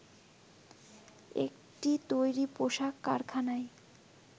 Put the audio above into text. একটি তৈরি পোশাক কারখানায়